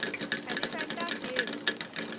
Elephanta caves